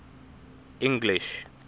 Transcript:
english